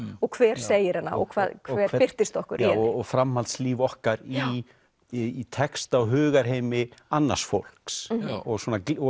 og hver segir hana og hver birtist okkur í henni og framhaldslíf okkar í í texta og hugarheimi annars fólks og